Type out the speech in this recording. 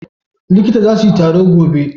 Liƙita za su yi taro gobe